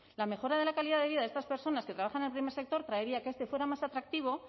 la mejora de la calidad de vida de estas personas que trabajan en el primer sector traería que este fuera más atractivo